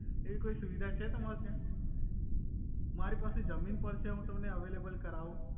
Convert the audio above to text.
એવી કોઈ સુવિધા છે તમારે ત્યા મારી પાસે જમિન પણ છે હુ તમને અવઈલેબલ કરાવુ